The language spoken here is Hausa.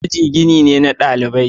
Aji gini ne na dalibai.